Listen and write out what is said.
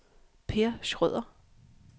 Per Schrøder